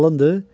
Qalındı?